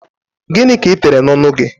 Gịnị ka ị tere n'ọnụ gị?